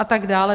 A tak dále.